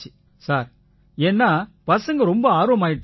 sir ஏன்னா பசங்க ரொம்ப ஆர்வமாயிட்டாங்க